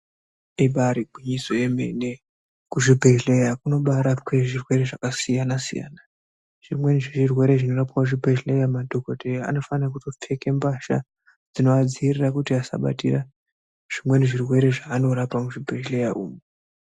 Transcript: Ibairi gwinyiso yemene kuzvibhedhlera kunobarapwe zvirwere zvakasiyana-siyana. Zvimweni zvirwere zvinorapwe kuzvibhedhlera madhogodheya anofana kutopfeka mbatya dzinoadziirira kuti asabatira zvimweni zvirwere zvevanorapa muzvibhedhlera umu.